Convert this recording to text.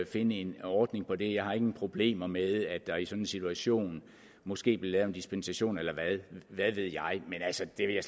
finde en ordning på det jeg har ingen problemer med at der i sådan en situation måske bliver lavet en dispensation eller hvad ved jeg men altså det vil jeg